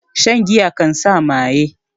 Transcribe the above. Shan giya kan sa maye